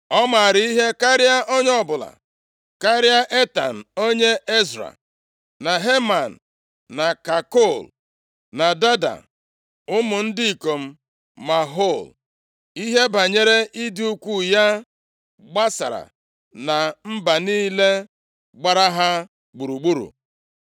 Ọ maara ihe karịa onye ọbụla, karịa Etan onye Ezra, na Heman, na Kalkol, na Dada, ụmụ ndị ikom Mahol. Ihe banyere ịdị ukwuu ya gbasara na mba niile gbara ha gburugburu.